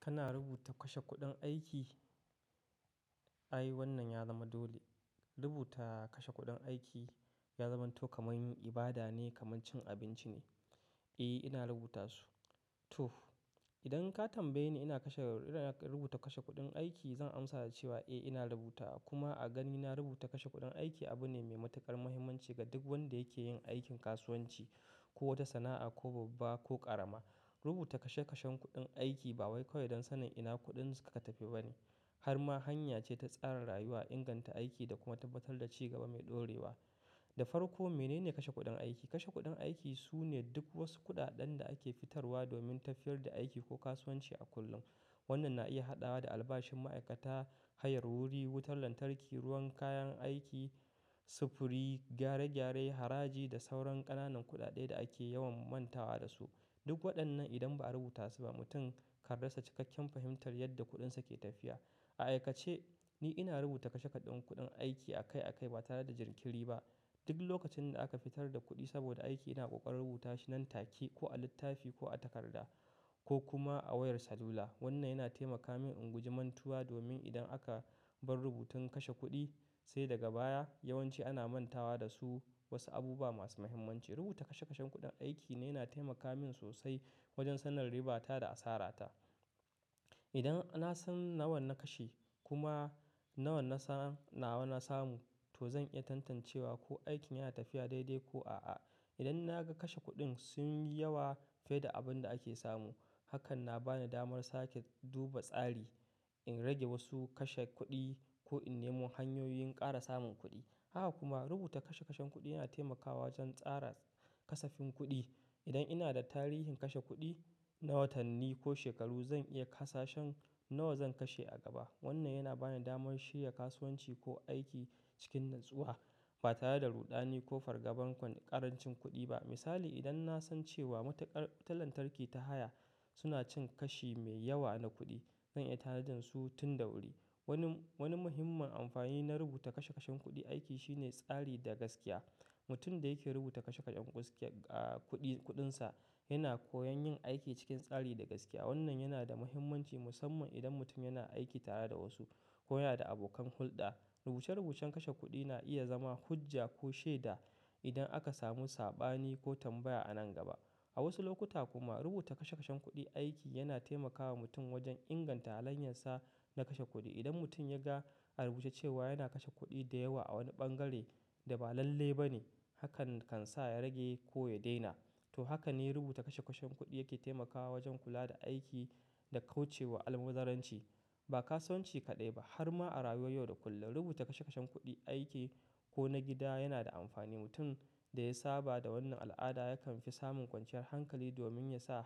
Kana rubuta kashe kuɗin aiki? Ai wannan ya zama dole. Rubuta kashe kuɗin aiki ya zamanto kamar yin ibada ne, kamar cin abinci ne. Eh, ina rubuta su. To, idan ka tambaye ni ina rubuta kashe kuɗin aiki, zan amsa da cewa eh ina rubuta kuma a ganina rubuta kashe kuɗin aiki abu ne mai matuƙar muhimmanci ga duk wadda yake yin aikin kasuwanci ko wata sana'a, ko babba ko ƙarama. Rubuta kashe kashen kuɗin aiki ba wai kawai don sanin ina kuɗinka ka tafi ba ne, har ma hanya ce ta tsara rayuwa, inganta aiki da kuma tabbatar da ci gaba mai ɗorewa. Da farko, menene kashe kuɗin aiki? Kashe kuɗin aiki su ne duk wasu kuɗaɗen da ake fitarwa domin tafiyar da aiki ko kasuwanci a kullum. Wannan na iya haɗawa da albashin ma'aikata, hayar wuri, wutar lantarki, ruwan kayan aiki, sufuri, gyare-gyare, haraji da sauran ƙananan kuɗaɗe da ake yawan mantawa da su. Duk waɗannan idan ba a rubuta su ba, mutum kan rassa cikakken fahimtar yadda kuɗinsa ke tafiya. A aikace, ni ina rubuta kashe kuɗin kuɗin aiki a kai a kai ba tare da jinkiri ba. Duk lokacin da aka fitar da kuɗi saboda aiki ina ƙoƙarin rubuta shi nan take, ko a littafi ko a takarda ko kuma a wayar salula. Wannan yana taimaka min in guji mantuwa domin idan aka bar rubutun kashe kuɗi sai daga baya, yawanci ana mantawa da su wasu abubuwa masu muhimmanci. Rubuta kashe kashen kuɗin aiki ne yana taimaka min sosai wajen sanin ribata da asarata. Idan na san nawa na kashe kuma nawa na samu, to zan iya tantancewa ko aikin yana tafiya daidai ko a'a. Idan na ga kashe kuɗin sun yi yawa fiye da abin da ake samu, hakan na bani damar sake duba tsari, in rage wasu kashe kuɗi ko in nemi hanyoyin ƙara samun kuɗi. Haka kuma rubuta kashe kashen kuɗi yana taimakawa wajen tsara kasafin kuɗi. Idan ina da tarihin kashe kuɗi na watanni ko shekaru, zan iya kasa shin nawa zan kashe a gaba. Wannan yana bani damar shirya kasuwanci ko aiki cikin natsuwa ba tare da ruɗani ko fargabar ƙarancin kuɗi ba. Misali, idan na san cewa matuƙar wutar lantarki ta haya suna cin kashi mai yawa na kuɗi, zan iya tara su tun da wuri. Wani muhimman amfani na rubuta kashe kashen kuɗi aiki shine tsari da gaskiya. Mutum da yake rubuta kashe kashen kuɗi kuɗinsa yana koyon yin aiki cikin tsari da gaskiya. Wannan yana da muhimmanci musamman idan mutum yana aiki tare da wasu ko yana da abokan hulɗa. Rubuce-rubucen kashe kuɗi na iya zama hujja ko shaida idan aka samu sabani ko tambaya a nan gaba. A wasu lokuta kuma rubuta kashe kashen kuɗi aiki yana taimakawa mutum wajen inganta halayyensa na kashe kuɗi. Idan mutum ya ga a rubuce cewa yana kashe kuɗi da yawa a wani bangare da ba lalle ba ne, hakan kan sa ya rage ko ya daina. To, haka ne rubuta kashe kashen kuɗi yake taimakawa wajen kula da aiki da kauce wa almubazzarranci, ba kasuwanci kaɗai ba har ma a rayuwar yau da kullum. Rubuta kashe kashen kuɗi aiki ko na gida yana da amfani. Mutum da ya saba da wannan al'ada yakan fi samun kwanciyar hankali domin ya san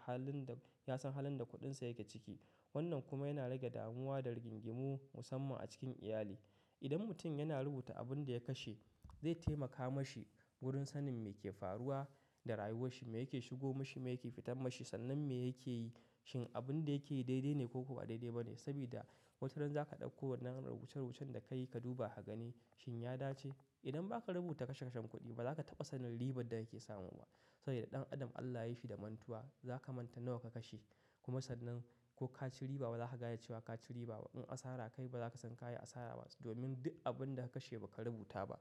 halin da kuɗinsa yake ciki. Wannan kuma yana rage damuwa da rigingimu musamman a cikin iyali. Idan mutum yana rubuta abin da ya kashe, zai taimaka ma shi wurin sanin me ke faruwa da rayuwarsa, me yake shigo mashi, me yake fitar mashi, sannan me yake yi. Shin abun da yake yi daidai ne ko kuwa ba daidai ba ne? Saboda wataran za ka ɗauko wannan rubuce-rubucen da ka yi ka duba ka gani shin ya dace. Idan ba ka rubuta kashe kashen kuɗi ba, ba za ka taba sanin ribar da yake samu ba. Saboda ɗan adam Allah ya yi shi da mantuwa. Za ka manta nawa ka kashe kuma sannan ko ka ci riba ba za ka gaya cewa ka ci riba ba. In asara ka yi ba za ka san ka yi asara ba domin duk abin da ka kashe ba ka rubuta ba.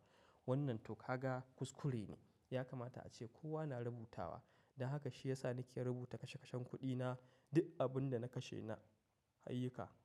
Wannan tokaga kuskure ne. Ya kamata ace kowa na rubutawa. Da haka shi ya sa ni ke rubuta kashe kashen kuɗina, duk abin da na kashe na hayika.